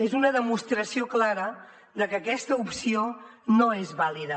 és una demostració clara de que aquesta opció no és vàlida